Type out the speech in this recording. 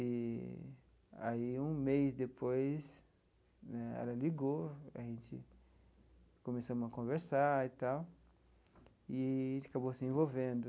E aí, um mês depois né, ela ligou, a gente começamos a conversar e tal, eee a gente acabou se envolvendo.